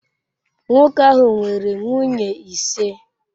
Nwoke ahụ nwere nwunye ise.